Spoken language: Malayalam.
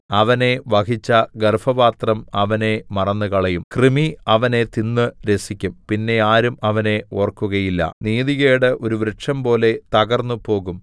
അവനെ വഹിച്ച ഗർഭപാത്രം അവനെ മറന്നുകളയും കൃമി അവനെ തിന്ന് രസിക്കും പിന്നെ ആരും അവനെ ഓർക്കുകയില്ല നീതികേട് ഒരു വൃക്ഷംപോലെ തകർന്നുപോകും